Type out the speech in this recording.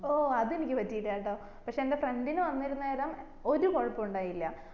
ഓ അത് എനിക്ക് പറ്റിറ്റാ ട്ടോ പക്ഷെ എന്റെ friend നു വന്നിരുന്നേരം ഒരു കൊഴപ്പുണ്ടായില്ല